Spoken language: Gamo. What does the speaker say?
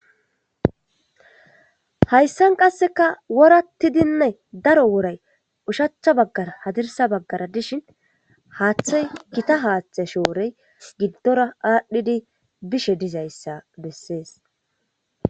Haysan qaseka woratidinne daro woray ushachcha bagara hadirsa bagara dishin hathay gita hathe shorey gidora adhidi bishe dizaysa beses.